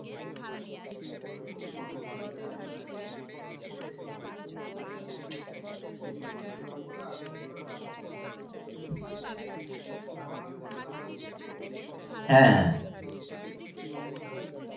সেটা তৈরি হতে অনেকটাই time লাগে কিন্তু এই ভাবে তুমি দেখো না এই যে জঙ্গলে আগুন গুলো লাগে দাবানল যেটাকে আমরা বলি হ্যাঁ হ্যাঁ সব সময় কিন্তু জঙ্গলের,